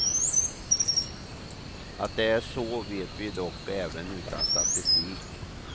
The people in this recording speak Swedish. Att det är så vet vi dock även utan statistik.